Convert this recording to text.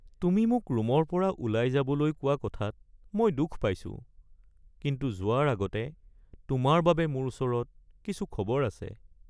তুমি মোক ৰুমৰ পৰা ওলাই যাবলৈ কোৱা কথাত মই দুখ পাইছো, কিন্তু যোৱাৰ আগতে তোমাৰ বাবে মোৰ ওচৰত কিছু খবৰ আছে। (মা)